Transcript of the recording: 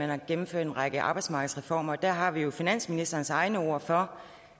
har gennemført en række arbejdsmarkedsreformer og der har vi jo finansministerens egne ord for